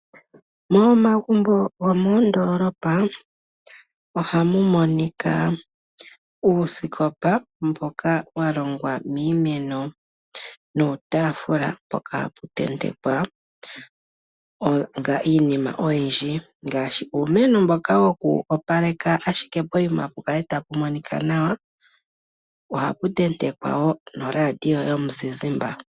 Momagumbo gomoondoolopa ohamu adhika uusikopa mboka walongwa miimeno nuutaafula mpoka haputentekwa iinima oyindji ngaashi uumeno mboka woku opaleka ashike poyima pukale tapu monika nawa, ohapu tentekwa wo noRadio yomuzizimba.